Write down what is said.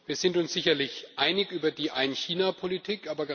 Wir sind uns sicherlich einig über die Ein China Politik.